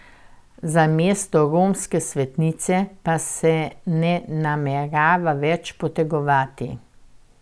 Za mesto romske svetnice pa se ne namerava več potegovati.